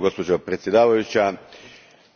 Gospođo predsjednice,